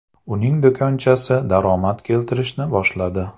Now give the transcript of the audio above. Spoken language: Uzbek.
Uning do‘konchasi daromad keltirishni boshladi.